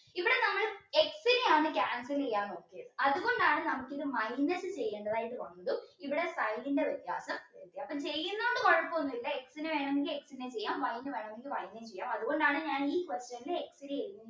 പിന്നെയാണ് നമ്മൾ cancel ചെയ്യാൻ നോക്കിയത് അതുകൊണ്ടാണ് നമുക്കിത് minus ചെയ്യേണ്ടതായിട്ട് വന്നതും ഇവിടെ sign ന്റെ വ്യത്യാസം അപ്പ ചെയ്യുന്നുണ്ട് കുഴപ്പമൊന്നുമില്ല X ന് വേണമെങ്കിൽ X ചെയ്യാം Y ന് വേണമെങ്കിൽ Y ചെയ്യാം അതുകൊണ്ടാണ് ഞാൻ ഈ question ൽ X ചെയ്തത്